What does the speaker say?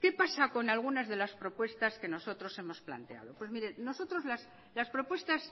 qué pasa con algunas de las propuestas que nosotros hemos planteado pues mire nosotros las propuestas